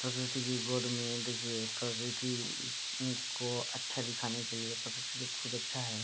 प्रकृति के गोद में देखिए प्रकृति को अच्छा दिखाने के लिए प्रकृति तो खुद अच्छा है।